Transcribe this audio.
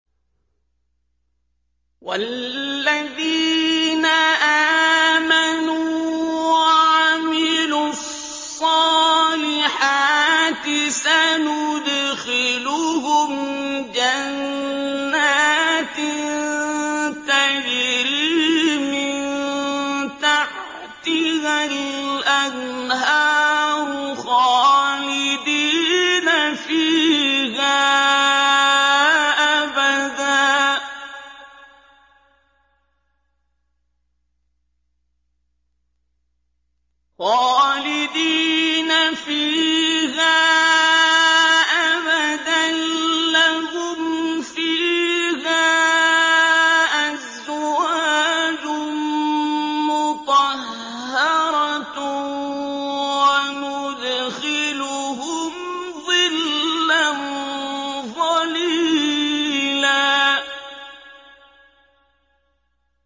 وَالَّذِينَ آمَنُوا وَعَمِلُوا الصَّالِحَاتِ سَنُدْخِلُهُمْ جَنَّاتٍ تَجْرِي مِن تَحْتِهَا الْأَنْهَارُ خَالِدِينَ فِيهَا أَبَدًا ۖ لَّهُمْ فِيهَا أَزْوَاجٌ مُّطَهَّرَةٌ ۖ وَنُدْخِلُهُمْ ظِلًّا ظَلِيلًا